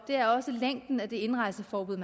er også længden af de indrejseforbud